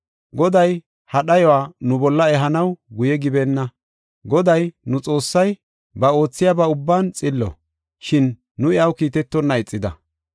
Goday ha dhayuwa nu bolla ehanaw guye gibeenna. Goday, nu Xoossay ba oothiyaba ubban xillo, shin nu iyaw kiitetonna ixida.